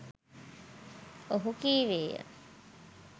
ඔහු කීවේය